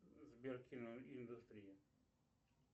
сбер киноиндустрия